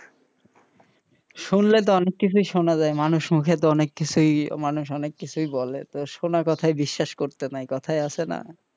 শুনলে তো অনেক কিছুই শোনা যায় মানুষ মুখেতো অনেক কিছুই মানুষ অনেক কিছুই বলে তো শোনা কথা বিশ্বাস করতে নাই কোথায় আছে না,